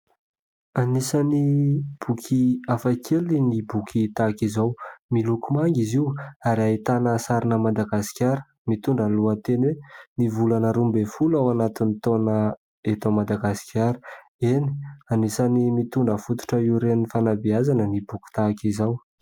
Anisan'ny boky hafakely ny boky tahaka izao. Miloko manga izy io ary ahitana sarina Madagasikara mitondra ny lohateny hoe : "ny volana roa ambin'ny folo ao anatin'ny taona eto Madagasikara". Eny anisan'ny mitondra fototra hiorenan'ny fanabeazana ny boky tahaka izao.